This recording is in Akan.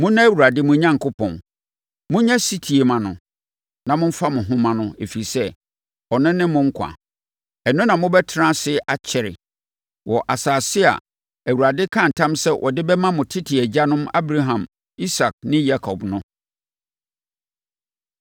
Monnɔ Awurade, mo Onyankopɔn. Monyɛ ɔsetie mma no, na momfa mo ho mma no, ɛfiri sɛ, ɔno ne mo nkwa. Ɛno na mobɛtena ase akyɛre wɔ asase a Awurade kaa ntam sɛ ɔde bɛma mo tete agyanom Abraham, Isak ne Yakob no.